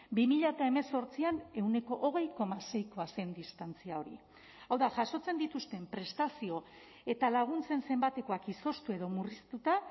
bi mila hemezortzian ehuneko hogei koma seikoa zen distantzia hori hau da jasotzen dituzten prestazio eta laguntzen zenbatekoak izoztu edo murriztuta